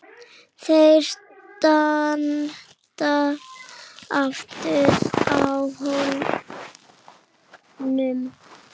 Þau standa aftur á hólnum.